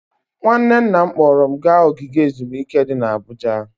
Nwanne nna m kpọọrọ m gaa ogige ezumike dị n'Abuja.